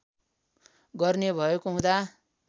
गर्ने भएको हुँदा